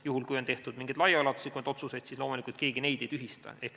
Juhul, kui on tehtud mingeid laiaulatuslikumaid otsuseid, siis loomulikult keegi neid ei tühista.